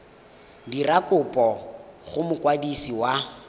dira kopo go mokwadisi wa